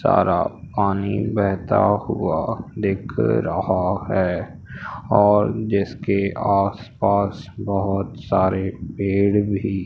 सारा पानी बहता हुआ दिख रहा है और जिसके आसपास बहोत सारे पेड़ भी--